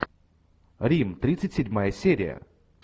рим тридцать седьмая серия